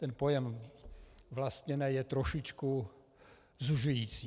Ten pojem vlastněné je trošičku zužující.